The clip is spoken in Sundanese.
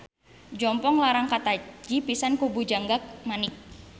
Jompong Larang kataji pisan ku Bujangga Manik.